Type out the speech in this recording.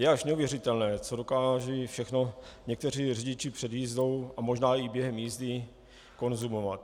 Je až neuvěřitelné, co dokážou všechno někteří řidiči před jízdou a možná i během jízdy konzumovat.